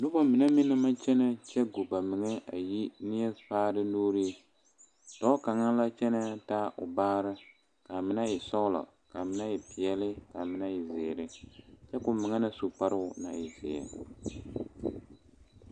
Noba mine meŋ na maŋ kyɛne kyɛ go ba meŋe a yi nenfaare nuure dɔɔ kaŋa la kyɛne a taa o baare kaa mine e sɔglɔ, kaa mine e peɛle, kaa mine e ziiri kyɛ koo meŋ na su kparo naŋ e ziɛ.